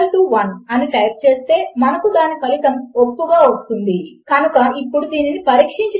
నేను ఒక్ అని చెపుతాను లేదా అక్కడ చివరకు ఎచ్టీఎంఎల్ ఫీల్డ్ లు ఉంటాయి కనుక you forgot to fill out a field అని చెపుతాను